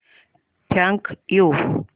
thank you